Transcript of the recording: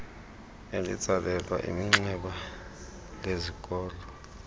elitsalelwa iminxeba lezikolo